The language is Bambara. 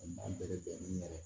U man bɛrɛ bɛn ni yɛrɛ